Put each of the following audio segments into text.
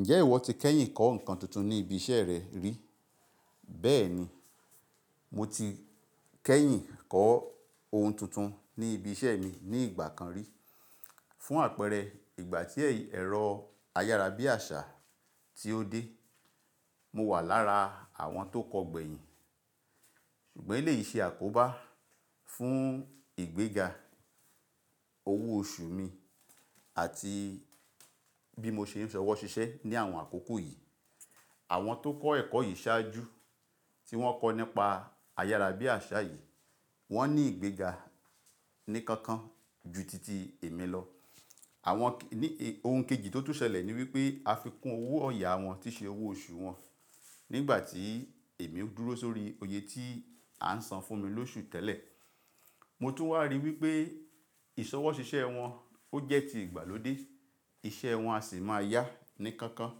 Ǹjẹ́ ìwọ ti kẹ́yìn kọ́ ohun tuntun ní ibi iṣẹ́ rẹ rí? Bẹ́ẹ̀ni, mo ti kẹ́yìn kọ́ ohun tuntun ní ibi iṣẹ́ mi ní ìgbà kan rí. Fún àpẹẹrẹ, ìgbà tí ẹ̀rọ ayára bí àṣá tí ó dé, mo wà lára àwọn tó kọ gbẹ̀yìn. Ṣùgbọ́n èyí lè ṣe àkóbá fún ìgbéga owó oṣù mi àti bí mo ṣe ń ṣọwọ́ ṣiṣẹ́ ní àwọn àkókò yìí. Àwọn tó kọ́ ẹ̀kọ́ yìí ṣáájú tí wọ́n kọ́ nípa ayára bí àṣá yìí, wọ́n ní ìgbéga ní kankan ju titi èmi lọ. Àwọn ohun kejì tó tún ṣẹlẹ̀ ni wípé afikún owó ọ̀yá wọn tí ṣe owó oṣù wọn. Nígbà tí èmi ń dúró sórí oyè tí à ń san fún mi lóṣù tẹ́lẹ̀, mo tún wá rí wípé ìṣọwọ́ ṣiṣẹ́ wọn ó jẹ́ ti ìgbàlódé, iṣẹ́ wọn a sì máa yá ní kankan.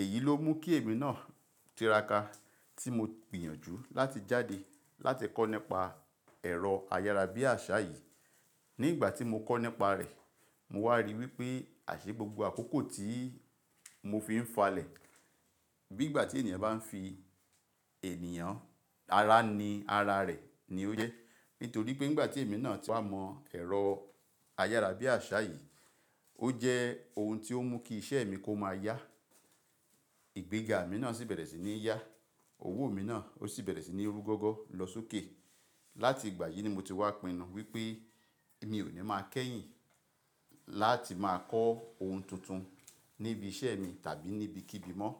Èyí ló mú kí èmi náà tiraka tí mo gbìyànjú láti jáde láti kọ́ nípa ẹ̀rọ ayára bí àṣá yìí. Nígbà tí mo kọ́ nípa rẹ̀, mo wá rí wípé àṣẹ gbogbo àkókò tí mo fi ń falẹ̀. Bí ìgbà tí ènìyàn bá ń fi ènìyàn-- ara ní ara rẹ̀ ni ó jẹ́. Nítorí pé nígbà tí èmi náà ti wá mọ ẹ̀rọ ayára bí àṣá yìí, ó jẹ́ ohun tí ó mú kí iṣẹ́ mi kó máa yá. Ìgbéga mi náà sì bẹ̀rẹ̀ sí ní yá, owó mi náà ó sì bẹ̀rẹ̀ sí ní rú gọ́gọ́ lọ sókè. Láti ìgbà yìí ni mo ti wá pinnu wípé èmi ò ní máa kẹ́yìn láti máa kọ́ ohun tuntun níbi iṣẹ́ mi tàbí níbí kíbi mọ́